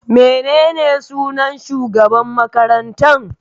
Menene sunan shugaban makarantan?